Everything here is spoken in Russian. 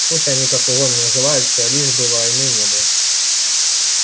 пусть они как угодно называются лишь бы войны не было